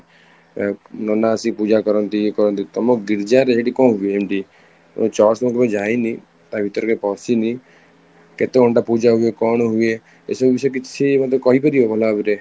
ଏ ନନା ଆସିକି ପୂଜା କରନ୍ତି କରନ୍ତି ତମ ଗୀର୍ଜା ରେ ସେଠି କ'ଣ ହୁଏ ଏମିତି ତମ church ତ କେବେ ଯାଇନି ତା ଭିତରେ କେବେ ପଶିନି କେତେ ଘଣ୍ଟା ପୂଜା ହୁଏ କଣ ହୁଏ ଏସବୁ ବିଷୟରେ କିଛି ମତେ କହିପାରିବ ଭଲ ଭାବରେ